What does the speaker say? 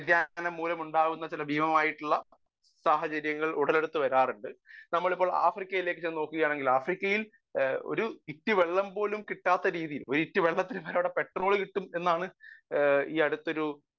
Speaker 1 വ്യതിയാനം മൂലമുണ്ടാകുന്ന ചില ഭീമമായിട്ടുള്ള സാഹചര്യങ്ങൾ ഉടലെടുത്തു വരാറുണ്ട് . നമ്മൾ ഇപ്പോൾ ആഫ്രിക്ക എടുത്തുനോക്കുകയാണെങ്കിൽ ആഫ്രിക്കയിൽ ഒരിറ്റു വെള്ളം പോലും കിട്ടാത്ത രീതിയിൽ ഒരിറ്റു വെള്ളത്തിനു അവിടെ പെട്രോൾ കിട്ടും എന്നാണ് ഈയടുത്തൊരു